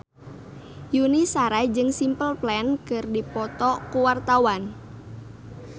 Yuni Shara jeung Simple Plan keur dipoto ku wartawan